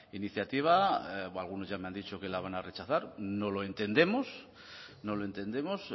iniciativa algunos ya me han dicho que la van a rechazar no lo entendemos no lo entendemos